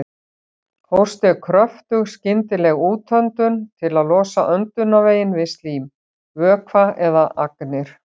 Hósti er kröftug skyndileg útöndun til að losa öndunarveginn við slím, vökva eða agnir.